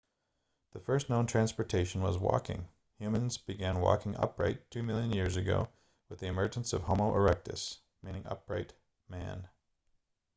the first known transportation was walking humans began walking upright two million years ago with the emergence of homo erectus meaning upright man